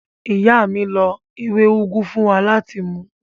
Ìyá mi lo ewé úgú fún wa láti mu.